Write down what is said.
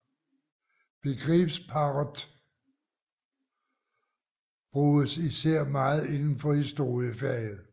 Begrebsparret bruges især meget inden for historiefaget